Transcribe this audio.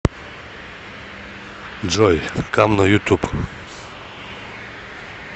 джой кам на ютуб